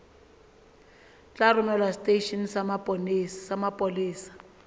tla romelwa seteisheneng sa mapolesa